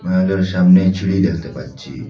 দরজার সামনে ছিঁড়ি দেখতে পাচ্ছি।